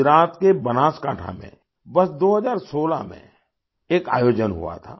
गुजरात के बनासकांठा में वर्ष 2016 में एक आयोजन हुआ था